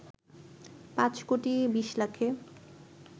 পাঁচ কোটি ২০ লাখে